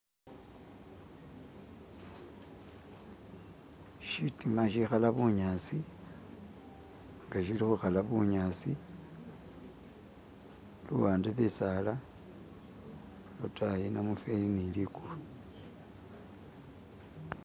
Shitima shikhala bunyasi ng shili khukhala bunyasi, luwande bisala, lwotayi namufeli ne ligulu.